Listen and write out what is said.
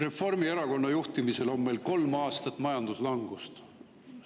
Reformierakonna juhtimisel on meil kolm aastat olnud majanduslangus.